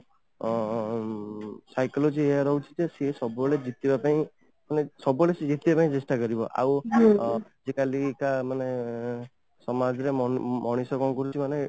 ଅଂ Psychology ଏହା ରହୁଛି କି ସିଏ ସବୁବେଳେ ଜିତିବା ପାଇଁ ମାନେ ସବୁବେଳେ ସିଏ ଜିତିବା ପାଇଁ ଚେଷ୍ଟା କରିବ ଆଉ ଆଜିକାଲିକା ମାନେ ସମାଜ ରେ ମଣିଷ ମଣିଷ କ'ଣ କରୁଛି ମାନେ